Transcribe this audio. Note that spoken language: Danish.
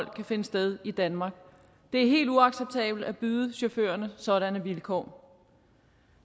kan finde sted i danmark det er helt uacceptabelt at byde chaufførerne sådanne vilkår